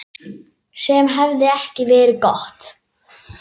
Sem hefði ekki verið gott.